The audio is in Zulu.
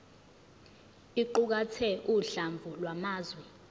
iqukathe uhlamvu lwamazwi